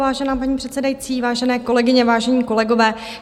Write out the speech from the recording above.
Vážená paní předsedající, vážené kolegyně, vážení kolegové.